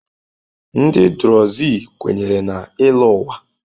Ndị Druze kwenyere na ịlọ ụwa.